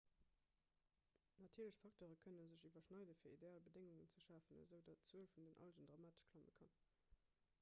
natierlech facteure kënne sech iwwerschneiden fir ideal bedéngungen ze schafen esoudatt d'zuel vun den algen dramatesch klamme kann